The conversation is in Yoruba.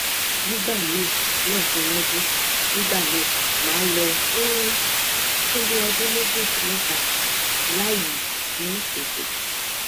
nigbami lekan lodun nigba mi ma lo um fun bi odun meji si meta layi si eto